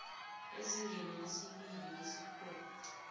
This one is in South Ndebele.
ezingeni lesibili lesikhungo